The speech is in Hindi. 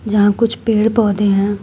जहां कुछ पेड़ पौधे हैं।